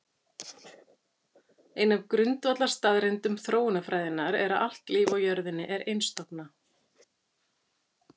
ein af grundvallarstaðreyndum þróunarfræðinnar er að allt líf á jörðinni er einstofna